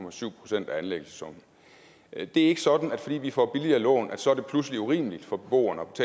procent af anlæggelsessummen det er ikke sådan at det fordi vi får billigere lån så pludselig er urimeligt for beboerne